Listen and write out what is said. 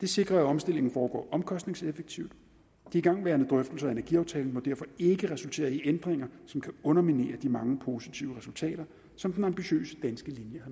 det sikrer at omstillingen foregår omkostningseffektivt de igangværende drøftelser af energiaftalen må derfor ikke resultere i ændringer som kan underminere de mange positive resultater som den ambitiøse danske linje